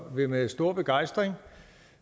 vil med stor begejstring